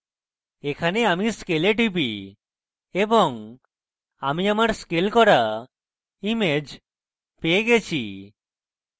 এখন আমি scale টিপি এবং আমি আমার scale করা image পেয়ে গেছি